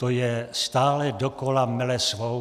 To je stále dokola, mele svou.